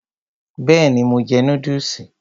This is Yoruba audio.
Bẹ́ẹ̀ni, mo jẹ núdùsì